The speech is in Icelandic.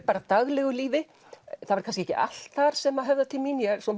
bara daglegu lífi það var kannski ekki allt þar sem höfðar til mín ég er svo